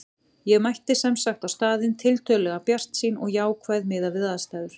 Ég mætti sem sagt á staðinn tiltölulega bjartsýn og jákvæð miðað við aðstæður.